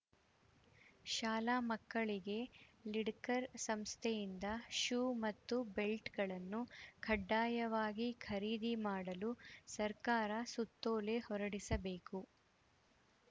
ಶಾಲಾ ಮಕ್ಕಳಿಗೆ ಲಿಡಕರ್‌ ಸಂಸ್ಥೆಯಿಂದ ಶೂ ಮತ್ತು ಬೆಲ್ಟ್‌ಗಳನ್ನು ಕಡ್ಡಾಯವಾಗಿ ಖರೀದಿ ಮಾಡಲು ಸರ್ಕಾರ ಸುತ್ತೋಲೆ ಹೊರಡಿಸಬೇಕು